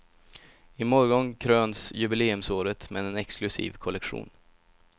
I morgon kröns jubileumsåret med en exklusiv kollektion.